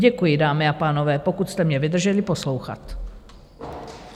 Děkuji, dámy a pánové, pokud jste mě vydrželi poslouchat.